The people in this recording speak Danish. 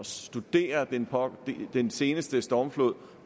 studere den den seneste stormflod